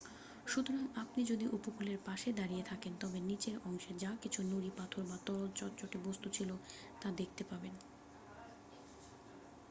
সুতরাং আপনি যদি উপকূলের পাশে দাঁড়িয়ে থাকেন তবে নিচের অংশের যা কিছু নুড়ি পাথর বা তরল চটচটে বস্তূ ছিল তা দেখতে পাবেন